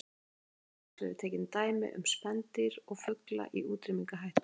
Hér hafa aðeins verið tekin dæmi um spendýr og fugla í útrýmingarhættu.